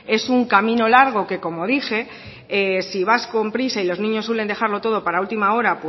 es un camino largo que como dije si vas con prisa y los niños suelen dejarlo todo para última hora